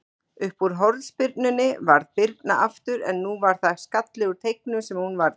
Uppúr hornspyrnunni varði Birna aftur, en nú var það skalli úr teignum sem hún varði.